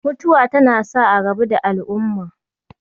Mutuwa tana sa a rabu da al'umma